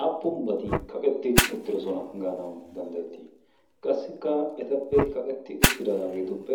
aappunbati kaqetti uttirosona gaanawu danddayettii? qassikka etappe kaqetti uttidaageetuppe